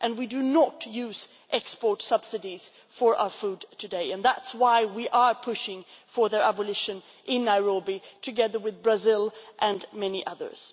We do not use export subsidies for our food today, and that is why we are pushing for their abolition in Nairobi, together with Brazil and many others.